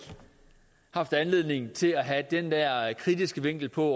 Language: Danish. haft anledning til at have den der kritiske vinkel på